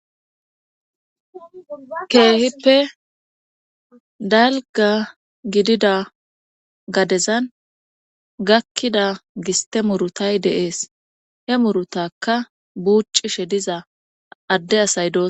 Kehippe dalga gidida gadezan gakida giste murutay de'es he murutaka bucishe diza ade asay dosona